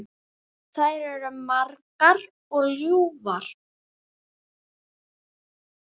Þær eru margar og ljúfar.